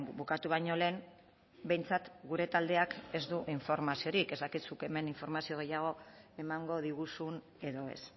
bukatu baino lehen behintzat gure taldeak ez du informaziorik ez dakit zuk hemen informazio gehiago emango diguzun edo ez